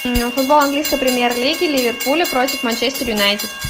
футбол английской премьер лиги ливерпуля против манчестер юнайтед